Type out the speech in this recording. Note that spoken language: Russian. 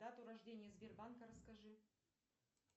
дату рождения сбербанка расскажи